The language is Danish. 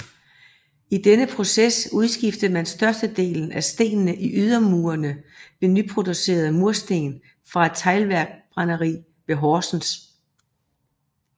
I denne proces udskiftede man størstedelen af stenene i ydermurene med nyproducerede munkesten fra et teglbrænderi ved Horsens